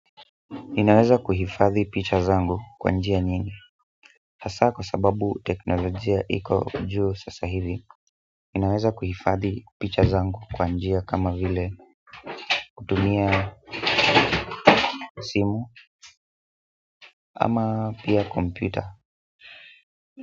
Ninaweza kuhifadhi picha zangu kwa njia nyingi hasaa kwa sababu teknolojia iko juu sasa hivi ninaweza kuhifadhi picha zangu kwa njia kama vile kutumia simu ama pia kompyuta.